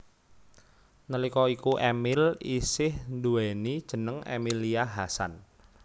Nalika iku Emil isih nduwèni jeneng Emilia Hasan